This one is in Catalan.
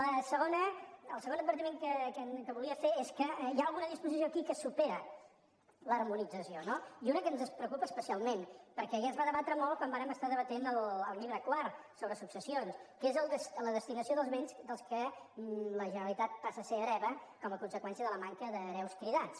la segona el segon advertiment que volia fer és que hi ha alguna disposició aquí que supera l’harmonització no i una que ens preocupa especialment perquè ja es va debatre molt quan vàrem debatre el llibre quart sobre successions que és la destinació dels béns dels quals la generalitat passa a ser hereva com a conseqüència de la manca d’hereus cridats